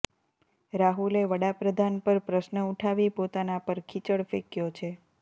રાહુલે વડાપ્રધાન પર પ્રશ્ન ઉઠાવી પોતાના પર કીચડ ફેંકયો છે